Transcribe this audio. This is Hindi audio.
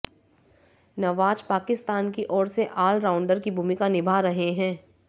नवाज पाकिस्तान की ओर से ऑलराउंडर की भूमिका निभा रहे हैं